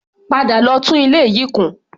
Padà lọ tún ilé yìí kùn!